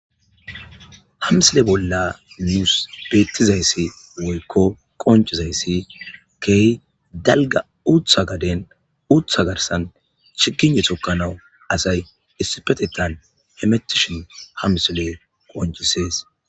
hamsile bolla nuus beettizayssi woykko qoncizayssi key dalga uutha gaden uutha garsan chiginne tokkanawu asay issipetetan hemetishon hamsile qoncisees